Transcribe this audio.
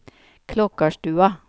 Klokkarstua